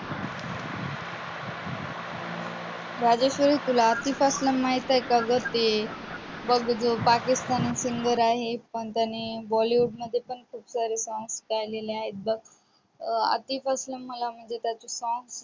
राजश्री तुला आतिफ अस्लम माहीत आहे का ग बघ ते पाकिस्तानी singer आहे पण त्याने बॉलीवुड मध्ये पण खूप सारे songs गाईलेली आहेत आधीपासून मला त्याचे song